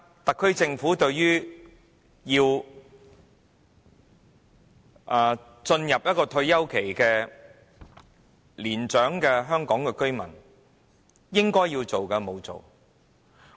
特區政府對於進入退休期的年長香港居民，應做的沒有做。